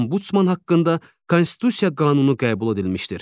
Ambudsman haqqında Konstitusiya qanunu qəbul edilmişdir.